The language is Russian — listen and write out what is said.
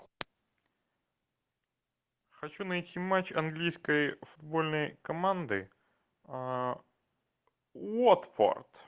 хочу найти матч английской футбольной команды уотфорд